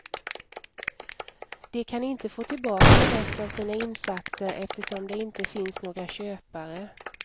De kan inte få tillbaka något av sina insatser eftersom det inte finns några köpare.